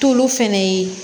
Tulu fɛnɛ ye